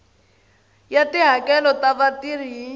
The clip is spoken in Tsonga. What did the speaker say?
ya tihakelo ta vatirhi hi